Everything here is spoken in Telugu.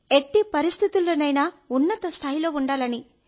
ఎట్టి పరిస్థితిలో ఉన్నత స్థాయిలో ఉండాలని